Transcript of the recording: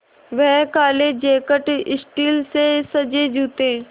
वह काले jacket steel से सजे जूते